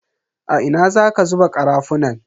A ina zaka zuba karafunan?